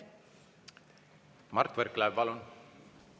Mart Võrklaev, palun!